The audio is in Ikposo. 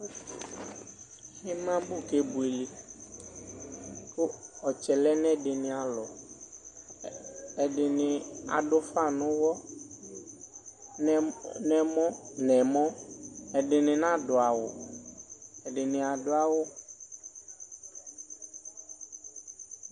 Imabʋ kebuele kʋ ɔtsɛ lɛnʋ ɛdini alɔ ɛdini adʋ ufa nʋ ʋwɔ nʋ ɛmɔ ɛdini nadʋ awʋ ɛdini adʋ awʋ